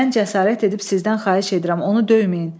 Mən cəsarət edib sizdən xahiş edirəm onu döyməyin.